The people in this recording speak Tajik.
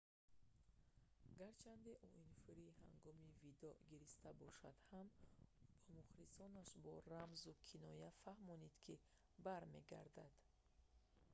гарчанде уинфри ҳангоми видоъ гириста бошад ҳам ӯ ба мухлисонаш бо рамзу киноя фаҳмонд ки бармегардад